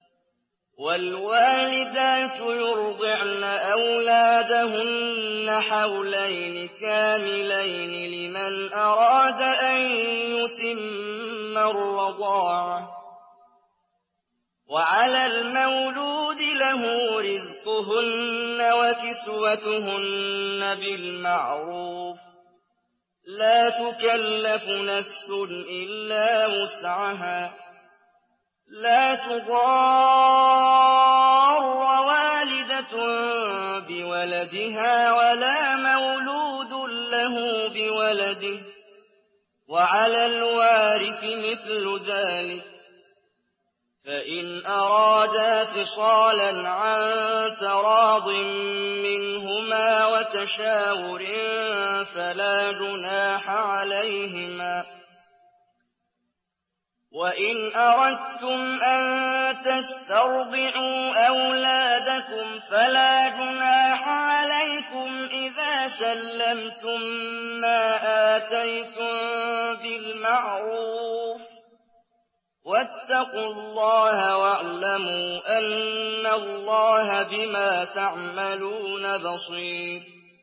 ۞ وَالْوَالِدَاتُ يُرْضِعْنَ أَوْلَادَهُنَّ حَوْلَيْنِ كَامِلَيْنِ ۖ لِمَنْ أَرَادَ أَن يُتِمَّ الرَّضَاعَةَ ۚ وَعَلَى الْمَوْلُودِ لَهُ رِزْقُهُنَّ وَكِسْوَتُهُنَّ بِالْمَعْرُوفِ ۚ لَا تُكَلَّفُ نَفْسٌ إِلَّا وُسْعَهَا ۚ لَا تُضَارَّ وَالِدَةٌ بِوَلَدِهَا وَلَا مَوْلُودٌ لَّهُ بِوَلَدِهِ ۚ وَعَلَى الْوَارِثِ مِثْلُ ذَٰلِكَ ۗ فَإِنْ أَرَادَا فِصَالًا عَن تَرَاضٍ مِّنْهُمَا وَتَشَاوُرٍ فَلَا جُنَاحَ عَلَيْهِمَا ۗ وَإِنْ أَرَدتُّمْ أَن تَسْتَرْضِعُوا أَوْلَادَكُمْ فَلَا جُنَاحَ عَلَيْكُمْ إِذَا سَلَّمْتُم مَّا آتَيْتُم بِالْمَعْرُوفِ ۗ وَاتَّقُوا اللَّهَ وَاعْلَمُوا أَنَّ اللَّهَ بِمَا تَعْمَلُونَ بَصِيرٌ